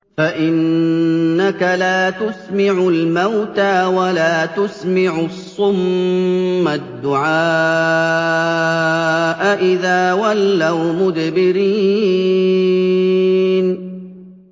فَإِنَّكَ لَا تُسْمِعُ الْمَوْتَىٰ وَلَا تُسْمِعُ الصُّمَّ الدُّعَاءَ إِذَا وَلَّوْا مُدْبِرِينَ